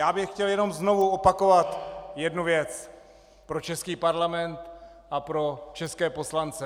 Já bych chtěl jenom znovu opakovat jednu věc pro český parlament a pro české poslance.